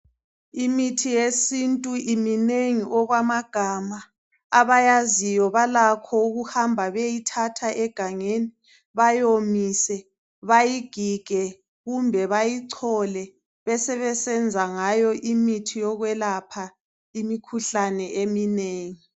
Imithi yesintu iminengi okwamagama. Abayaziyo balakho ukuhamba beyeyithatha egangeni bayomise, bayigige kumbe bayichole besebesenza ngayo imithi yokwelapha imikhuhlane eminengi.